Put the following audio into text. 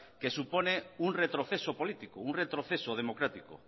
que supone un retroceso político un retroceso democrático